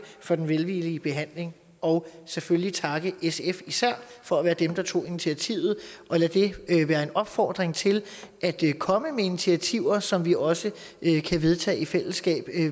for den velvillige behandling og selvfølgelig især takke sf for at være dem der tog initiativet lad det være en opfordring til at komme med initiativer som vi også kan vedtage i fællesskab